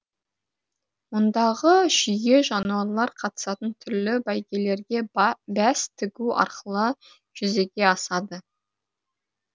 мұндағы жүйе жануарлар қатысатын түрлі бәйгелерге бәс тігу арқылы жүзеге асады